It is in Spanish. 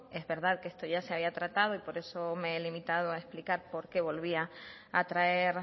es verdad que esto ya se había tratado y por eso me he limitado a tratar por qué volvía a traer